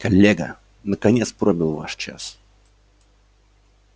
коллега наконец пробил ваш час